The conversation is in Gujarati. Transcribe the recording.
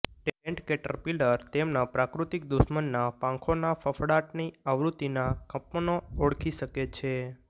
ટેન્ટ કેટરપિલર તેમના પ્રાક્રૃતિક દુશ્મનના પાંખોના ફફડાટની આવૃત્તિના કંપનો ઓળખી શકે છે